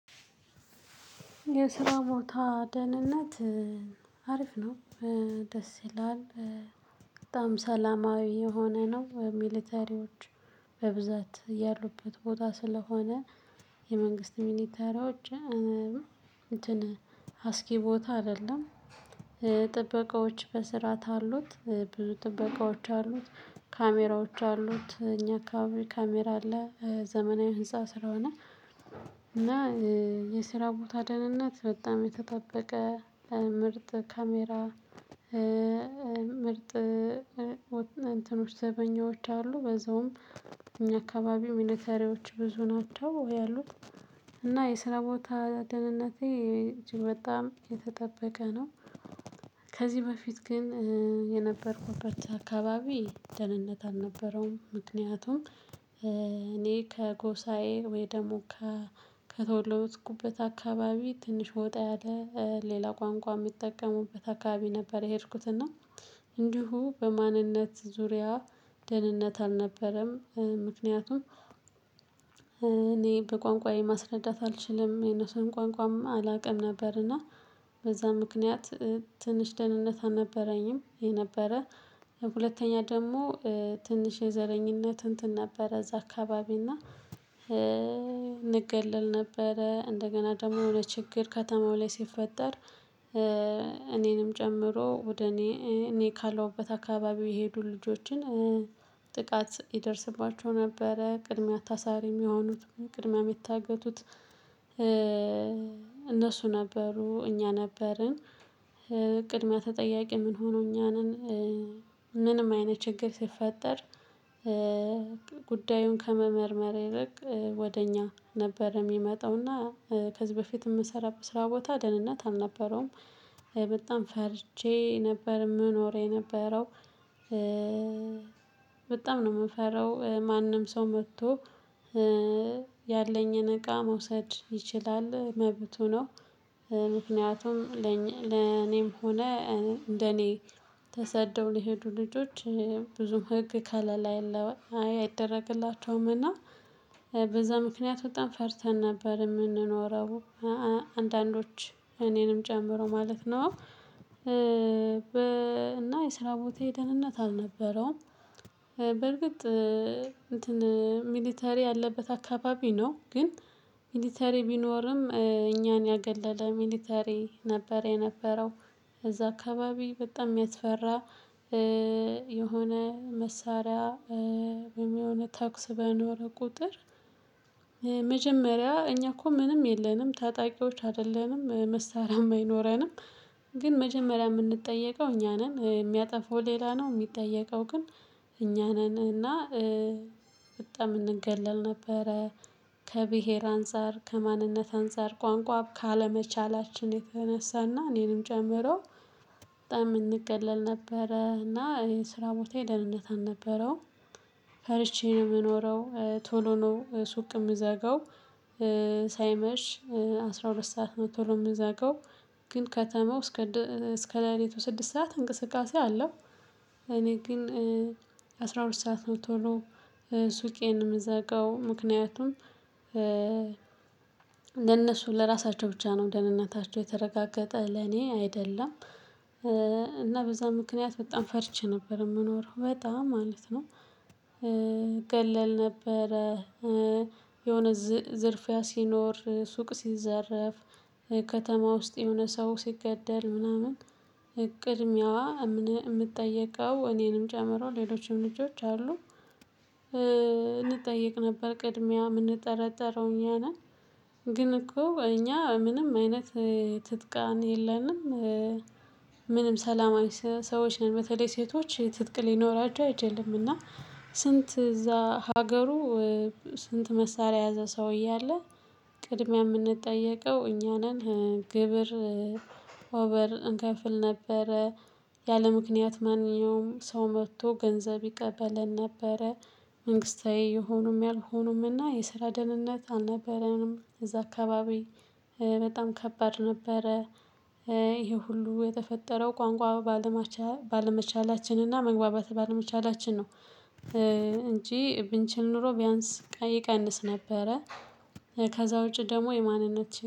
የስራ ቦታ ደህንነት አሪፍ ነው። ደስ ይላል። በጣም ሰላማዊ የሆነ ነው። ሚሊተሪዎች በብዛት ያሉበት ቦታ ስለሆነ የመንግስት ሚሊቴሪዎች እንትን አስጊ ቦታ አይደለም። ጥበቃዎች በስርዓት አሉት ብዙ ጥበቃዎች አሉት ካሜራዎች አሉት። እኛ ካሜራ አለ ዘመናዊ ህንፃ ስለ ሆነ። እና የስራ ቦታ ደህንነት በጣም የተጠበቀ ምርጥ ካሜራ። ምርጥ ዘበኞች አሉ በዛውም እኛ አካባቢ አካባቢው ሚሊተሪዎች ብዙ ናቸው። ያሉት እና የስራ ቦታ ደህንነቴ እጅግ በጣም የተጠበቀ ነው። ከዚህ በፊት ግን የነበርኩበት አካባቢ ደህንነት አልነበረውም። ምክንያቱም እኔ ከጎሳዬ ወይ ደግሞ ከቶተወለድሁበት አካባቢ ትንሽ ወጣ ያለ ሌላ ቋንቋ የሚጠቀሙበት አካባቢ ነበር። የሄድኩትና እንዲሁ በማንነት ዙሪያ ደህንነት አልነበረም። ምክንያቱም እኔ በቋንቋዬ ማስረዳት አልችልም የነሱን ቋንቋም አላውቅም ነበር። እና በዛ ምክንያት ትንሽ ደህንነት አልነበረኝም። የነበረ ሁለተኛ ደግሞ ትንሽ የዘረኝነት እንትን ነበረ እዛ አካባቢ እና እንገልል ነበረ እንደገና ደግሞ የሆነ ችግር ከተማው ላይ ሲፈጠር። እኔንም ጨምሮ ወደ እኔ እኔ ካለውበት አካባቢው የሄዱ ልጆችን ጥቃት ይደርስባቸው ነበረ። ቅድሚያ ታሳሪ የሚሆኑት ቅድመ ሚታገቱት። እነሱ ነበሩ እኛ ነበርን። ቅድሚያ ተጠያቂ ምን ሆኖ እኛ ነን። ምንም አይነት ችግር ሲፈጠር ጉዳዩን ከመመርመር ይልቅ ወደ እኛ ነበር የሚመጣውና። ከዚህ በፊት የምሰራበት ስራ ቦታ ደህንነት አልነበረውም። በጣም ፈርቼ ነበር የምኖረው የነበረው በጣም ነው የምፈራው ማንም ሰው መጥቶ ያለኝን እቃ መውሰድ ይችላል መብቱ ነው። ምክንያቱም ለኔም ሆነ እንደኔ ተሰደው ሊሄዱ ልጆች ብዙ ህግ ከለላ የለውም አይ አይደረግላቸውምና። በዛ ምክንያት በጣም ፈርተን ነበር የምንኖረው። አንዳንዶች እኔንም ጨምሮ ማለት ነው። እና የስራ ቦቴ ደህንነት አልነበረውም። በእርግጥ እንትን ሚሊተሪ ያለበት አካባቢ ነው ግን ሚሊተሪ ቢኖርም እኛን ያገለለ ሚሊተሪ ነበር የነበረው። ከዛ አካባቢ በጣም የሚያስፈራ። የሆነ መሳሪያ ወይም የሆነ ተኩስ በኖረ ቁጥር። መጀመሪያ እኛ እኮ ምንም የለንም ታጣቂዎች አይደለንም መሳሪያ አይኖረንም። ግን መጀመሪያ የምንጠየቀው እኛ ነን የሚያጠፋው ሌላ ነው የሚጠየቀው ግን። እኛ ነን እና በጣም እንገለል ነበረ። ከብሄር አንፃር ከማንነት አንፃር ቋንቋ ካለመቻላችን የተነሳና እኔንም ጨምሮ በጣም እንገለል ነበረ። እና እኔ ስራ ቦታዬ ደህንነት አልነበረውም። ፈርቼ ነው የምኖረው ቶሎ ነው ሱቅ የምዘጋው። ሳይመሽ አስራ ሁለት ሰዓት ነው ቶሎ የምዘጋው ግን ከተማው እስከ እስከ ላይ ሌቱ ስድስት ሰዓት እንቅስቃሴ አለው። እኔ ግን አስራ ሁለት ሰዓት ነው ቶሎ ሱቄን የምዘጋው ምክንያቱም። ለነሱ ለራሳቸው ብቻ ነው ደህንነታቸው የተረጋገጠ ለኔ አይደለም። እና በዛ ምክንያት በጣም ፈርቼ ነበር የምኖረው በጣም ማለት ነው። እገለል ነበረ። የሆነ ዝርፊያ ሲኖር ሱቅ ሲዘረፍ ከተማ ውስጥ የሆነ ሰው ሲገደል ምናምን ቅድሚያ የምጠየቀው እኔንም ጨምሮ ሌሎችም ልጆች አሉ። እንጠየቅ ነበር ቅድሚያ የምንጠረጠረው እኛ ነን። ግን እኮ እኛ ምንም አይነት ትጥቃን የለንም። ምንም ሰላማዊ ሰዎች ነን በተለይ ሴቶች ትጥቅ ሊኖራቸው አይችልም። እና ስንት እዛ ሀገሩ ስንት መሳሪያ ያዘ ሰውዬ አለ? ቅድሚያ የምንጠየቀው እኛ ነን ግብር ኦቨር እንከፍል ነበረ። ያለምክንያት ማንኛውም ሰው መጥቶ ገንዘብ ይቀበለን ነበረ። መንግስታዊ የሆኑም ያልሆኑምና የስራ ደህንነት አልነበረንም እዛ አካባቢ። በጣም ከባድ ነበረ። ይሄ ሁሉ የተፈጠረው ቋንቋ ባለመቻላችን እና መግባባት ባለመቻላችን ነው። እንጂ ብንችል ኖሮ ቢያንስ ቀይ ቀንስ ነበረ። ከዛ ውጪ ደግሞ የማንነት